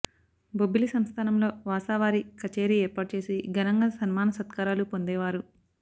బొబ్బిలి సంస్థానములొ వాసావారి కచేరీ ఏర్పాటు చేసి ఘనంగా సన్మాన సత్కారాలు పొందేవారు